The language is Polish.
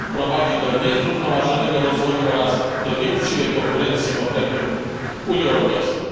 Prowadzi do niezrównoważonego rozwoju oraz do nieuczciwej konkurencji w obrębie Unii Europejskiej.